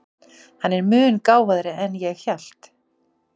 Hann er mun gáfaðri en ég hélt.